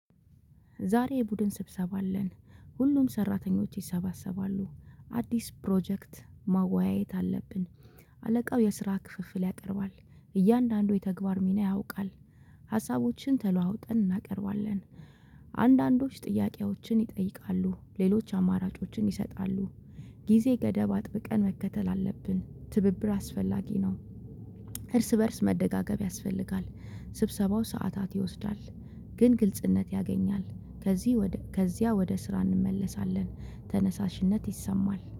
ዛሬ የቡድን ስብሰባ አለን። ሁሉም ሰራተኞች ይሰባሰባሉ አዲስ ፕሮጀክት ማወያየት አለብን። አለቃው የስራ ክፍፍል ያቀርባል። እያንዳንዱ የተግባር ሚና ያውቃል። ሀሳቦችን ተለዋውጠን እናቀርባለን። አንዳንዶች ጥያቄዎችን ይጠይቃሉ ሌሎች አማራጮችን ይሰጣሉ። ጊዜ ገደብ አጥብቀን መከተል አለብን ትብብር አስፈላጊ ነው። እርስ በእርስ መደጋገፍ ያስፈልጋል። ስብሰባው ሰዓታት ይወስዳል። ግን ግልጽነት ያገኛል። ከዚህ ወደ ከዚያ ወደ ስራ እንመለሳለን ተነሳሽነት ይሰማል